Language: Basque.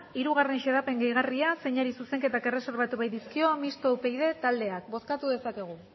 hiru xedapen gehigarria zeini zuzenketak erreserbatu baitizkio mistoa upyd taldeak bozkatu dezakegu